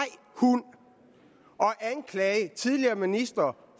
hund og anklage tidligere ministre